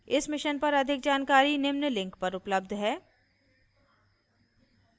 इस mission पर अधिक जानकारी निम्न लिंक पर उपलब्ध है :